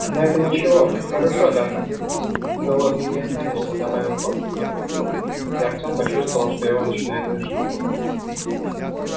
но это ничего хорошо даже голодным не останешься добавил он и подмигнул и артем почувствовал что его начинает тошнить